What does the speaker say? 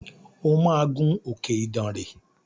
O máa gun òkè Idànrè!